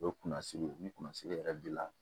O ye kunnasiri ni kunnasiri yɛrɛ dila